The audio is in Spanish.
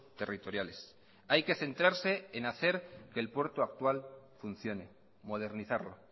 territoriales hay que centrarse en hacer que el puerto actual funcione modernizarlo